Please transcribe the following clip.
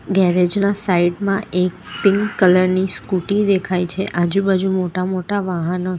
garage ના side માં એક પિન્ક કલર ની સ્કુટી દેખાય છે આજુબાજુ મોટા-મોટા વાહન--